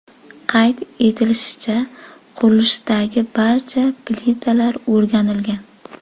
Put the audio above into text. Qayd etilishicha, qurilishdagi barcha plitalar o‘rganilgan.